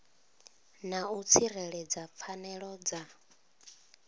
na u tsireledza pfanelo dza